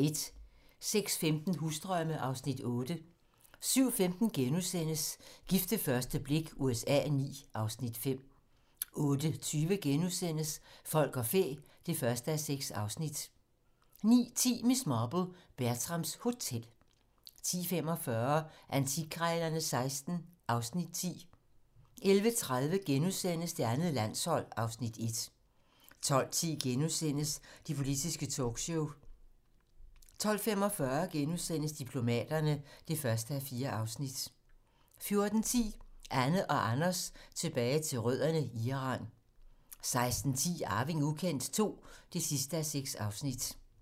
06:15: Husdrømme (Afs. 8) 07:15: Gift ved første blik USA IX (Afs. 5)* 08:20: Folk og fæ (1:6)* 09:10: Miss Marple: Bertrams Hotel 10:45: Antikkrejlerne XVI (Afs. 10) 11:30: Det andet landshold (Afs. 1)* 12:10: Det politiske talkshow * 12:45: Diplomaterne (1:4)* 14:10: Anne og Anders tilbage til rødderne: Iran 16:10: Arving ukendt II (6:6)